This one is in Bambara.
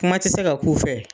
Kuma tɛ se ka k'u fɛ.